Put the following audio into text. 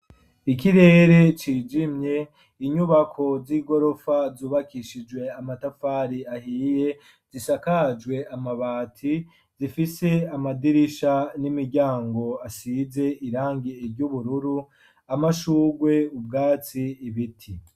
Ikirere kirimwo inyubako z'igorofa zubakishijwe amatafari ahiye zisakajwe amabati zifise amadirisha n'imiryango asize irangi eryubururu amashugwe ubwatsi ibiti.